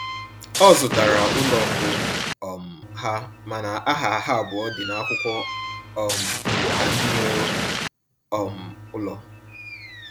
Ọ zụtara ụlọ mbụ um ha, mana aha ha abụọ dị n'akwụkwọ um ka ndị nwe um ụlọ